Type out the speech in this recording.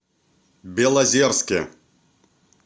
белозерске